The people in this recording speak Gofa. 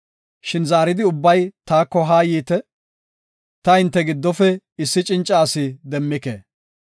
Shin zaaridi ubbay taako haa yiite! ta hinte giddofe issi cinca asi demmike.